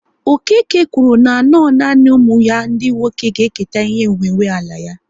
Okeke kwuru na no nanị ụmụ ya ndị nwoke ga-eketa ihe nwe nwe ala ya